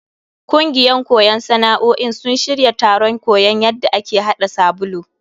Kungiyan koyon sana'o'in sun shirya taron koyon yadda ake hada sabulu.